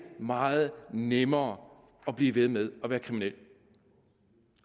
meget nemmere at blive ved med at være kriminel